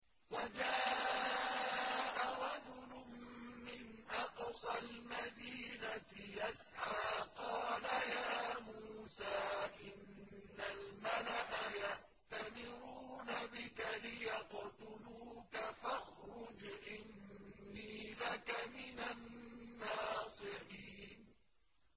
وَجَاءَ رَجُلٌ مِّنْ أَقْصَى الْمَدِينَةِ يَسْعَىٰ قَالَ يَا مُوسَىٰ إِنَّ الْمَلَأَ يَأْتَمِرُونَ بِكَ لِيَقْتُلُوكَ فَاخْرُجْ إِنِّي لَكَ مِنَ النَّاصِحِينَ